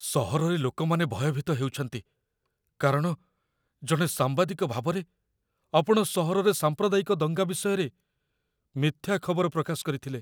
ସହରରେ ଲୋକମାନେ ଭୟଭୀତ ହେଉଛନ୍ତି, କାରଣ, ଜଣେ ସାମ୍ବାଦିକ ଭାବରେ, ଆପଣ ସହରରେ ସାମ୍ପ୍ରଦାୟିକ ଦଙ୍ଗା ବିଷୟରେ ମିଥ୍ୟା ଖବର ପ୍ରକାଶ କରିଥିଲେ।